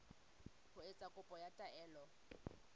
ho etsa kopo ya taelo